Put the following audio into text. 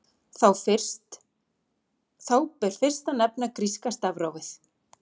Þá ber fyrst að nefna gríska stafrófið.